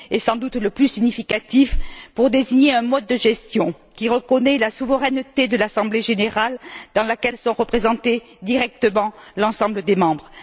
Il est sans doute le plus significatif pour désigner un mode de gestion qui reconnaît la souveraineté de l'assemblée générale, dans laquelle est représenté directement l'ensemble des membres.